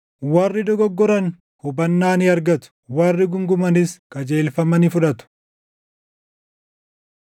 Warri dogoggoran hubannaa ni argatu; warri guungumanis qajeelfama ni fudhatu.”